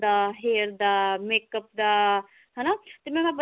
ਦਾ hair ਦਾ makeup ਦਾ ਹਨਾ ਤੇ mam